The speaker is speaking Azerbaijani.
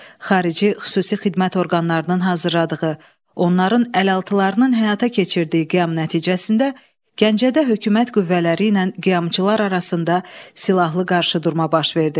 Xarici xüsusi xidmət orqanlarının hazırladığı, onların əlaltılarının həyata keçirdiyi qiyam nəticəsində Gəncədə hökumət qüvvələri ilə qiyamçılar arasında silahlı qarşıdurma baş verdi.